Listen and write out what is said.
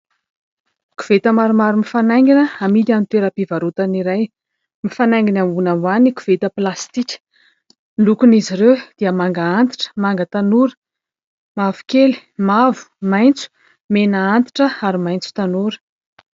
Koveta maromaro mifanaingina hamidy amin'ny toeram-pivarotana iray. Mifanaingina ambony ambany ny koveta plastika. Lokon' izy ireo dia manga antitra, manga tanora, mavokely, mavomaitso, mena antitra ary maitso tanora.